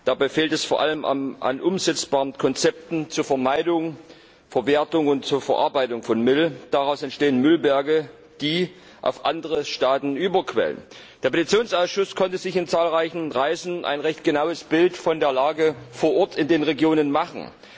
Dabei fehlt es vor allem an umsetzbaren Konzepten zur Vermeidung, Verwertung und Verarbeitung von Müll. Daraus entstehen Müllberge, die auf andere Staaten überquellen. Der Petitionsausschuss konnte sich vor Ort auf zahlreichen Reisen ein recht genaues Bild von der Lage in den Regionen machen.